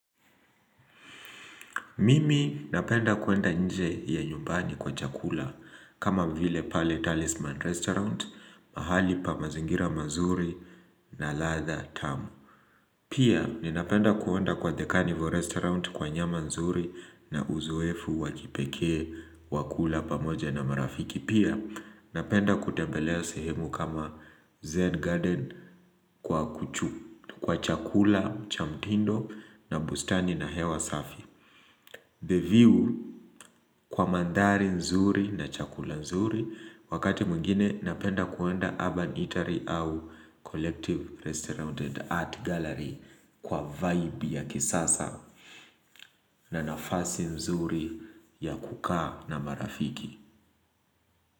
Mimi napenda kuenda nje ya nyumbani kwa chakula kama vile pale talisman restaurant, mahali pa mazingira mazuri na latha tamu. Pia, ni napenda kuenda kwa the carnival restaurant kwa nyama nzuri na uzoefu wakipekee wakula pamoja na marafiki. Pia, napenda kutembelea sehemu kama zen garden kwa kuchu kwa chakula, cha mtindo na bustani na hewa safi. The view kwa mandari nzuri na chakula nzuri wakati muingine napenda kuenda urban eatery au collective restaurant and art gallery kwa vibe ya kisasa na nafasi nzuri ya kukaa na marafiki.